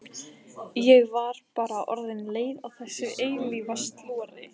Ég var bara orðin leið á þessu eilífa slori.